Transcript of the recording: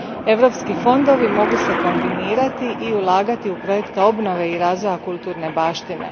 Europski fondovi mogu se kombinirati i ulagati u projekte obnove i razvoja kulturne baštine.